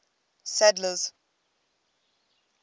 sadler's